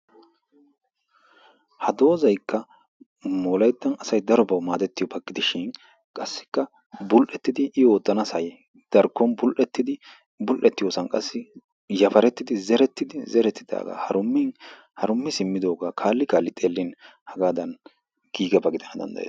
Ha dozaykka wolayttan asay darobaa maadetiyooba gidishin qassikka bul''etidi i oottanasay darkkon bul''ettidi zeretidaaga harummin, harummi simmidooga kaali kaali xeelin haggadan giigiyaaba gidana danddayees.